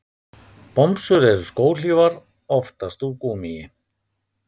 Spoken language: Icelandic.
Bomsur eru skóhlífar, oftast úr gúmmíi.